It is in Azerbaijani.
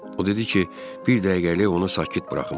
O dedi ki, bir dəqiqəlik onu sakit buraxım.